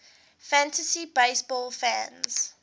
fantasy baseball fans